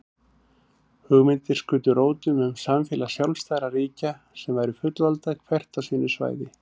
Hugmyndir skutu rótum um samfélag sjálfstæðra ríkja sem væru fullvalda hvert á sínu svæði.